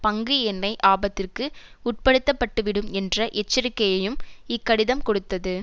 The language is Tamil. பங்கு எண்ணெய் ஆபத்திற்கு உட்படுத்த பட்டு விடும் என்ற எச்சரிக்கையையும் இக்கடிதம் கொடுத்தது